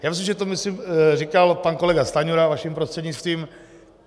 Já myslím, že to myslím říkal pan kolega Stanjura vaším prostřednictvím.